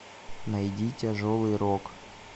найди тяжелый рок